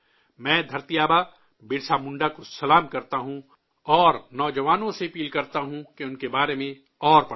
میں 'دھرتی آبا' برسا منڈا کو سلام کرتا ہوں اور نوجوانوں سے اپیل کرتا ہوں کہ ان کے بارے میں مزید پڑھیں